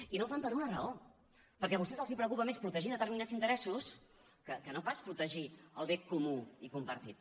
i no ho fan per una raó perquè a vostès els preocupa més protegir determinats interessos que no pas protegir el bé comú i compartit